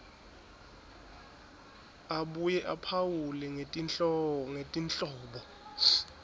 abuye aphawule ngetinhlobo